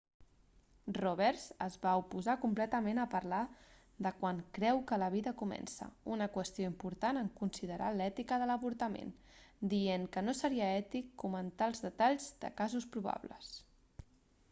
roberts es va oposar completament a parlar de quan creu que la vida comença una qüestió important en considerar l'ètica de l'avortament dient que no seria ètic comentar els detalls de casos probables